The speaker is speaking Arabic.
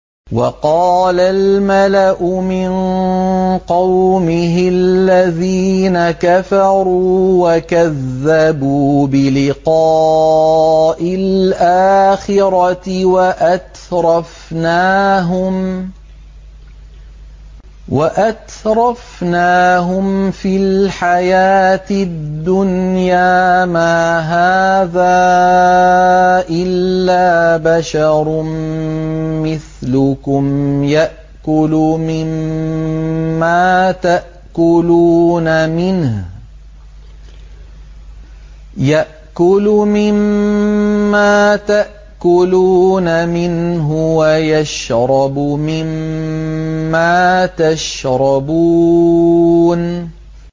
وَقَالَ الْمَلَأُ مِن قَوْمِهِ الَّذِينَ كَفَرُوا وَكَذَّبُوا بِلِقَاءِ الْآخِرَةِ وَأَتْرَفْنَاهُمْ فِي الْحَيَاةِ الدُّنْيَا مَا هَٰذَا إِلَّا بَشَرٌ مِّثْلُكُمْ يَأْكُلُ مِمَّا تَأْكُلُونَ مِنْهُ وَيَشْرَبُ مِمَّا تَشْرَبُونَ